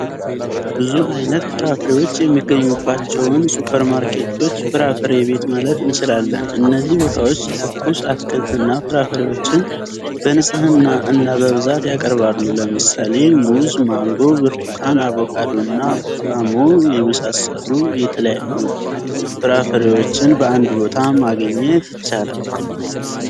ብዙ አይነት ፍራፍሬዎች የሚገኙባቸውን ሱፐር ማርኬቶች ፍራፍሬ ቤት ማለት እንችላለን። እነዚህ ቦታዎች ትኩስ አትክልትና ፍራፍሬዎችን በንጽህና እና በብዛት ያቀርባሉ። ለምሳሌ ሙዝ፣ ማንጎ፣ ብርቱካን፣ አቮካዶና ፖም የመሳሰሉ የተለያዩ ፍራፍሬዎችን በአንድ ቦታ ማግኘት ይቻላል።